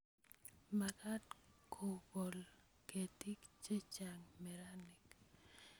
Makat kokol ketik che chang' meranik